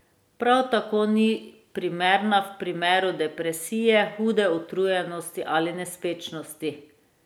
Prav tako ni primerna v primeru depresije, hude utrujenosti ali nespečnosti.